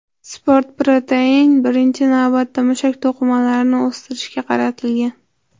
Sport proteini, birinchi navbatda, mushak to‘qimalarini o‘stirishga qaratilgan.